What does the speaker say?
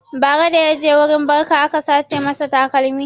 Bara da ya tafi wurin barka aka sace masa takalmi.